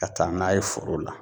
Ka taa n'a ye foro la